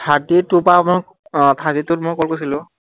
আহ thirty two ত মই call কৰিছিলো